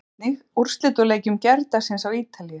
Sjá einnig: Úrslit úr leikjum gærdagsins á Ítalíu